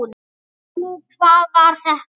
Jú, hvað var þetta?